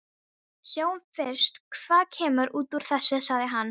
Sjáum fyrst hvað kemur út úr þessu, sagði hann.